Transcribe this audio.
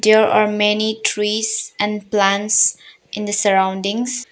There are many trees and plants in the surroundings.